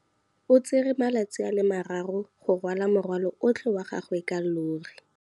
O tsere malatsi a le marraro go rwala morwalo otlhe wa gagwe ka llori.